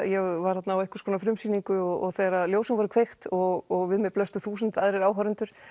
ég var þarna á einhvers konar frumsýningu og þegar ljósin voru kveikt og við mér blöstu þúsund aðrir áhorfendur